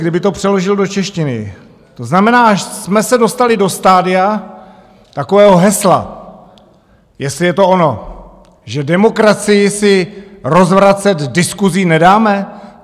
Kdyby to přeložil do češtiny, to znamená, že jsme se dostali do stadia takového hesla, jestli je to ono, že demokracii si rozvracet diskusí nedáme?